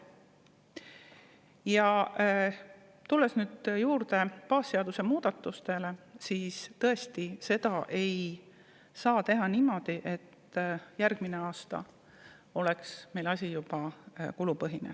Ja tulles nüüd baasseaduse muudatuste juurde, ütlen, et tõesti, seda ei saa teha niimoodi, et juba järgmisel aastal oleks meil kulupõhine.